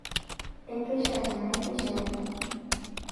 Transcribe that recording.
Ekesha teinakeshare?